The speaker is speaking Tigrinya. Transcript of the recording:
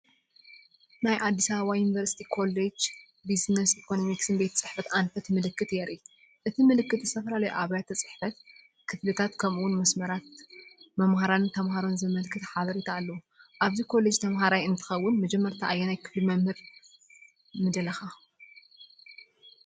ናይ ኣዲስ ኣበባ ዩኒቨርሲቲ ኮሌጅ ቢዝነስን ኢኮኖሚክስን ቤት ፅሕፈት ኣንፈት ምልክት የርኢ። እቲ ምልክት ዝተፈላለዩ ኣብያተ ጽሕፈት፡ ክፍልታት፡ ከምኡ’ውን መስመራት መምህራንን ተመሃሮን ዘመልክት ሓበሬታ ኣለዎ። ኣብዚ ኮለጅ ተማሃራይ እንተትኸውን መጀመርታ ኣየናይ ክፍሊ መምህር ምደለኻ?